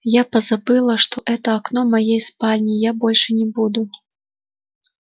я позабыла что это окно моей спальни я больше не буду